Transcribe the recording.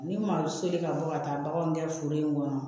Ni malo seli ka bɔ ka taa baganw gɛn foro in kɔnɔ